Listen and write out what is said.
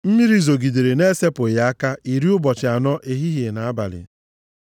Mmiri zogịdere na-esepụghị aka iri ụbọchị anọ, ehihie na abalị.